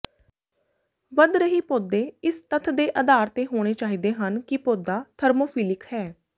ਵਧ ਰਹੀ ਪੌਦੇ ਇਸ ਤੱਥ ਦੇ ਆਧਾਰ ਤੇ ਹੋਣੇ ਚਾਹੀਦੇ ਹਨ ਕਿ ਪੌਦਾ ਥਰਮੋਫਿਲਿਕ ਹੈ